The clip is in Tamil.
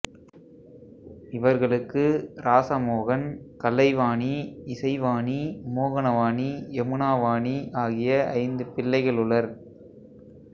இவர்களுக்கு இராசமோகன் கலைவாணி இசைவாணி மோகனவாணி யமுனாவாணி ஆகிய ஐந்து பிள்ளைகளுளர்